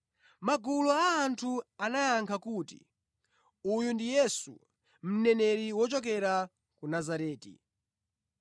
Magulu a anthu anayankha kuti, “Uyu ndi Yesu, mneneri wochokera ku Nazareti.”